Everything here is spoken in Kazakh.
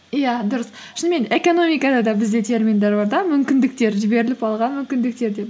иә дұрыс шынымен экономикада да бізде терминдер бар да мүмкіндіктер жіберіліп алған мүмкіндіктер деп